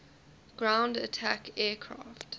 ground attack aircraft